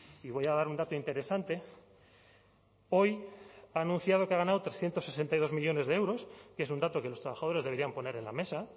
y voy a dar un dato interesante hoy ha anunciado que ha ganado trescientos sesenta y dos millónes de euros que es un dato que los trabajadores deberían poner en la mesa